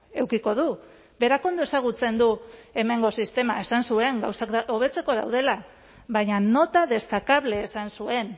edukiko du berak ondo ezagutzen du hemengo sistema esan zuen gauzak hobetzeko daudela baina nota destacable esan zuen